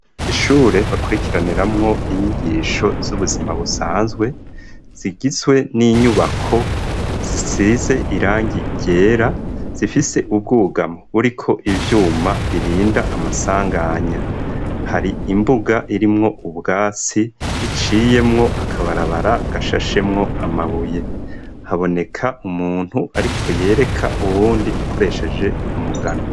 Ishure bakurikiraniramwo inyigisho z'ubuzima busanzwe zigizwe n'inyubako zisize irangi ryera zifise ubwugamo buriko ivyuma birinda amasanganya, hari imbuga irimwo ubwatsi iciyemwo akabarabara gashashemwo amabuye, haboneka umuntu ariko yereka uwundi akoresheje umugano.